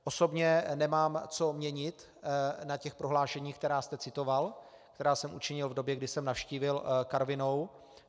Osobně nemám co měnit na těch prohlášeních, která jste citoval, která jsem učinil v době, kdy jsem navštívil Karvinou.